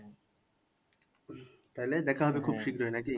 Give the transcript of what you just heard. তাইলে দেখা হবে শীঘ্রই নাকি?